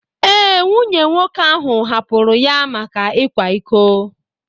Ee, nwunye nwoke ahụ hapụrụ ya maka ịkwa iko.